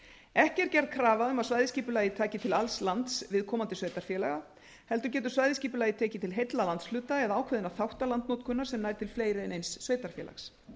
ekki er gerð krafa um að svæðisskipulagið taki til alls lands viðkomandi sveitarfélaga heldur getur svæðisskipulagið tekið til heilla landshluta eða ákveðinna þátta landnotkunar sem nær til fleiri en eins sveitarfélags